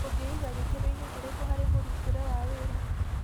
ũngĩiga gĩkĩroinĩ kĩrĩkũ harĩ mũrutĩre wa wĩra?